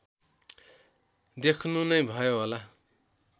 देख्नु नै भयो होला